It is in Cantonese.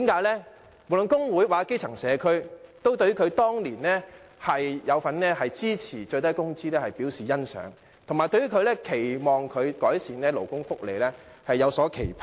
因為無論是工會或基層社區，均對他當年支持訂立最低工資表示欣賞，並且對他改善勞工福利有所期盼。